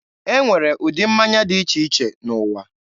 E nwere ụdị mmanya dị iche iche n'ụwa.